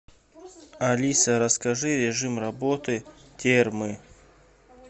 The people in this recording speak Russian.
алиса расскажи режим работы термы